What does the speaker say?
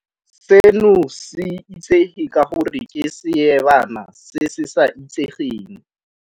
Seno se itsege ka gore ke seebana se se sa itsegeng.